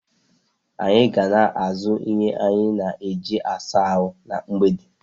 Anyị ga na-azụ ihe anyị na eji -asa ahụ na mgbede